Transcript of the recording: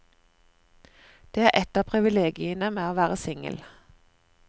Det er et av privilegiene med å være singel.